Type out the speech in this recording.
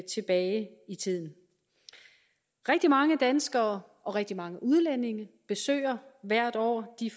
tilbage i tiden rigtig mange danskere og rigtig mange udlændinge besøger hvert år de